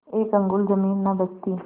एक अंगुल जमीन न बचती